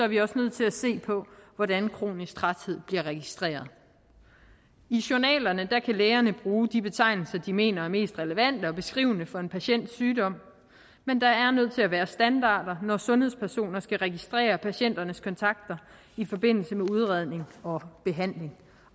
vi også nødt til at se på hvordan kronisk træthed bliver registreret i journalerne kan lægerne bruge de betegnelser de mener er mest relevante og beskrivende for en patients sygdom men der er nødt til at være standarder når sundhedspersoner skal registrere patienternes kontakter i forbindelse med udredning og behandling